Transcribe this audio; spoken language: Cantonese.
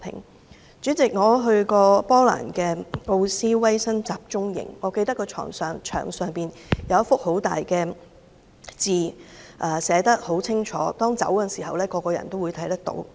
代理主席，我去過波蘭的奧斯威辛集中營，我記得有一大幅牆，牆上清楚寫着一些字，每個人離開的時候都會看到。